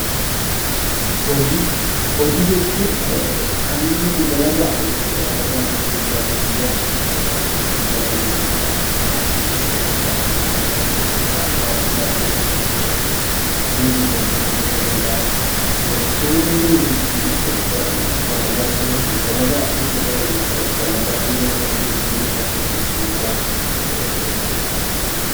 Hojii Hojii jechuun kan nuti dalagaa jechuudha. Dalagaa guyyaa guyyaadhaan kan nuti dalagnu jechuudha mana keessatti ta'uu danda'a, mana ala ta'u danda'a waajiraalee mootummaa, miti mootummaa ta'uu danda'a. Waantonni nuti itti dalagnu dalagaa jechuudha. Walumaa galatti dhalli namaa jiruu fi jireenya isaa keessatti ittiin jiraachuuf hojii hojjetu jechuudha.